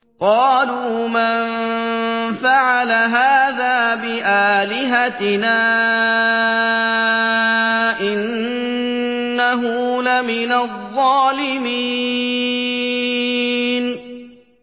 قَالُوا مَن فَعَلَ هَٰذَا بِآلِهَتِنَا إِنَّهُ لَمِنَ الظَّالِمِينَ